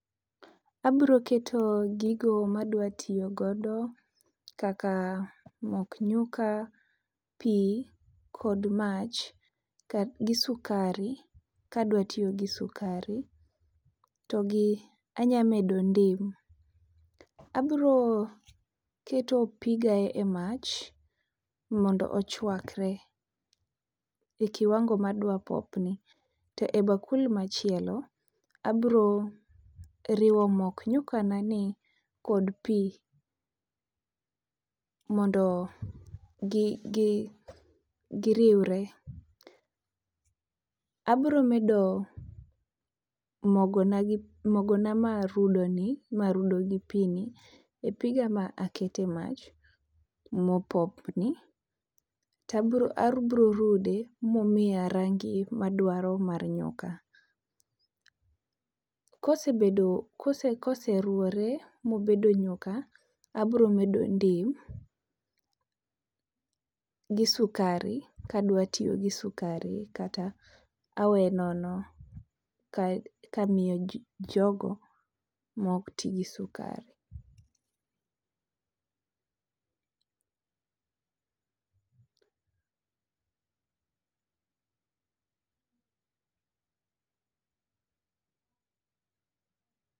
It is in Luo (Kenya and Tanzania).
Abiro keto gigo ma adwa tiyo godo kaka mok nyuka pu kod mach gi sukari kadwa tiyo gi sukari to gi anyalo medo ndim. Abiro keto piga e mach mondo ochuakre e kiwango madwa popni. To ebakul machielo abiro riwo mok nyukanani kod pi mondo gi gi giriwre. Abiro medo mogona mogona marudo ni marudo gi pi ni e piga maketo e mach mopopni to abiro rude momiya rangi madwaro mar nyuka. Kosebedo koseruwore mobedo nyuka abiro medo ndim gi sukari kadwa tiyo gi sukari kata aweye nono kamiyo ji jogo maok ti gi sukari.